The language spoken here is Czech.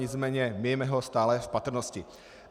Nicméně mějme ho stále v patrnosti.